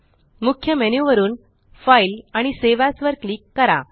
मुख्य मेन्यू वरुन फाइल आणि सावे एएस वर क्लिक करा